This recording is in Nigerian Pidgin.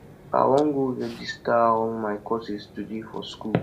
i wan go register all my courses today for school